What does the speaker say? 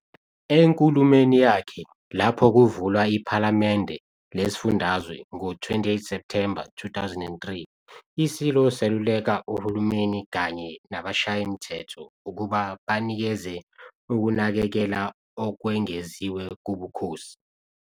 Enkulumweni yakhe lapho kuvulwa iPhalamende Lesifundazwe ngo-28 September 2003, iSilo seluleka uhulumeni kanye nabashayi-mthetho ukuba banikeze ukunakekela okwengeziwe kubukhosi.